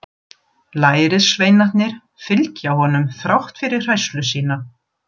Lærisveinarnir fylgja honum þrátt fyrir hræðslu sína.